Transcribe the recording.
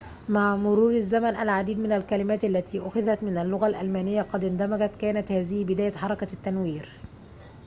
مع مرور الزمن العديد من الكلمات التي أُخِذَت من اللغة الألمانية قد اندمجت كانت هذه بداية حركة التنوير